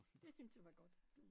Det synes jeg var godt du